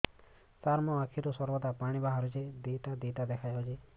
ସାର ମୋ ଆଖିରୁ ସର୍ବଦା ପାଣି ବାହାରୁଛି ଦୁଇଟା ଦୁଇଟା ଦେଖାଯାଉଛି